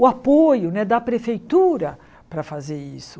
o apoio né da prefeitura para fazer isso.